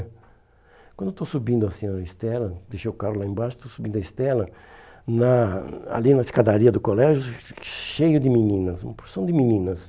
Quando eu estou subindo assim a Estela, deixei o carro lá embaixo, estou subindo a Estela, na ali na escadaria do colégio, cheio de meninas, uma porção de meninas.